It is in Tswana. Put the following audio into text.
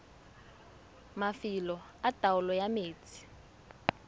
mafelo a taolo ya metsi